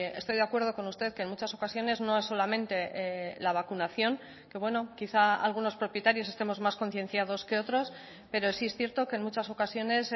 estoy de acuerdo con usted que en muchas ocasiones no solamente la vacunación que bueno quizá algunos propietarios estemos más concienciados que otros pero sí es cierto que en muchas ocasiones